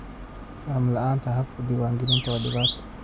Faham la'aanta habka diiwaangelinta waa dhibaato.